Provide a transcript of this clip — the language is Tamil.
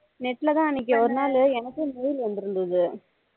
net ல தான் அன்னைக்கு ஒரு நாள் எனக்கே mail வந்துருந்தது